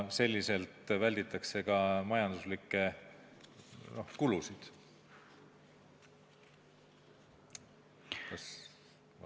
Sedasi välditakse ka majanduslikke kulusid.